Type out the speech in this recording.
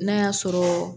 N'a y'a sɔrɔ